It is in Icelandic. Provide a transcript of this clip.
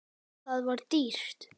Það var dýrt.